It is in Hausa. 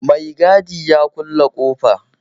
Mai gadi ya kulle ƙofa